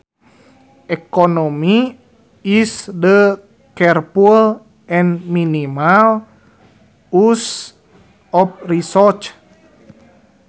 Economy is the careful and minimal use of resources